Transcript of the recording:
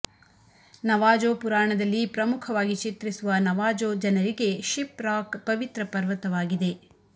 Navajo ಪುರಾಣದಲ್ಲಿ ಪ್ರಮುಖವಾಗಿ ಚಿತ್ರಿಸುವ ನವಾಜೋ ಜನರಿಗೆ ಶಿಪ್ ರಾಕ್ ಪವಿತ್ರ ಪರ್ವತವಾಗಿದೆ